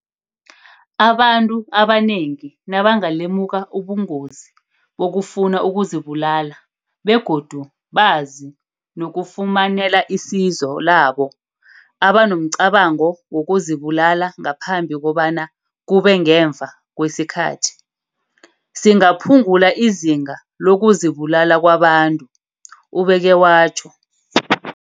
Abantu abanengi nabanga lemuka ubungozi bokufuna ukuzibulala begodu bazi nokufumanela isizo labo abanomcabango wokuzibulala ngaphambi kobana kube ngemva kwesikhathi, singaphungula izinga loku zibulala kwabantu, ubeke watjho.